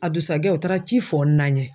A dusakɛ u taara ci fɔ n na ɲɛ.